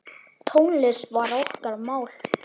Tónlist var okkar mál.